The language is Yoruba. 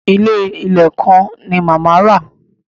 Ilé ìlẹ̀ kan ni màmá rà.